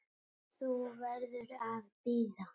Þú verður að bíða.